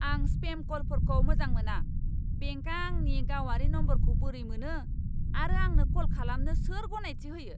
आं स्पेम कलफोरखौ मोजां मोना। बेंकआ आंनि गावारि नम्बरखौ बोरै मोनो आरो आंनो कल खालामनो सोर गनायथि होयो?